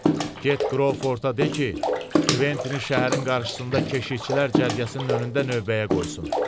Get Qroforda de ki, Kventini şəhərin qarşısında keşikçilər cərgəsinin önündə növbəyə qoysun.